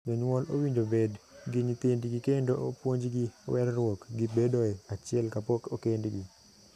Jonyuol owinjore obed gi nyithindgi kendo opuonjgi werruok gi bedoe achiel kapok okendgi.